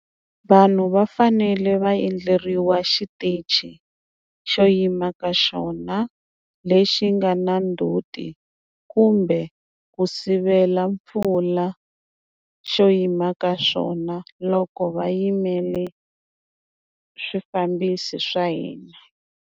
Vanhu va fanele va endleriwa xitichi xo yima ka xona lexi nga na ndzhuti kumbe ku sivela mpfula xo yima ka swona loko va yimele swifambisi swa hina.